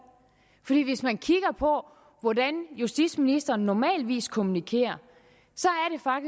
for hvis man kigger på hvordan justitsministeren normalt kommunikerer